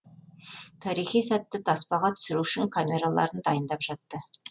тарихи сәтті таспаға түсіру үшін камераларын дайындап жатты